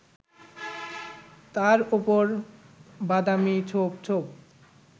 তার উপর বাদামি ছোপ ছোপ